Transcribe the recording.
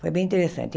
Foi bem interessante.